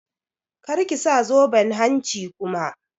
Kar ki sa zoben hanci kuma!